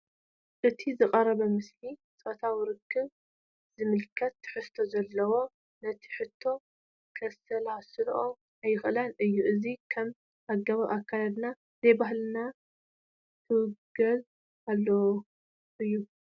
እቲ ዝቐረበ ምስሊ ጾታዊ ርክብ ዝምልከት ትሕዝቶ ስለዘለዎ፣ ነቲ ሕቶ ከሰላስሎ ኣይክእልን እየ። እዚ ከምዚ ኣገባብ ኣከዳድና ዘይባህልናን ክውገዝን ዘለዎ እዩ፡፡